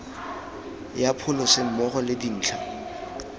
ya pholese mmogo le dintlha